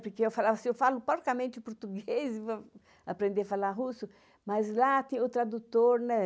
Porque eu falava assim, eu falo porcamente português e vou aprender a falar russo, mas lá tem o tradutor, né?